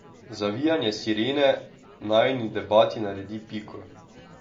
Zavijanje sirene najini debati naredi piko.